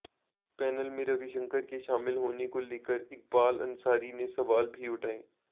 panel में रविशंकर के शामिल होने को लेकर इकबाल अंसारी ने सवाल भी उठाए